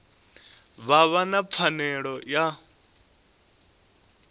vha vha na pfanelo ya